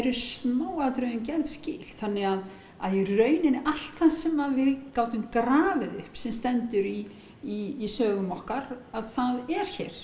smáatriðum gerð skil þannig að í rauninni allt það sem við gátum grafið upp sem stendur í sögum okkar það er hér